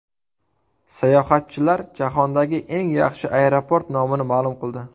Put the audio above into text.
Sayohatchilar jahondagi eng yaxshi aeroport nomini ma’lum qildi.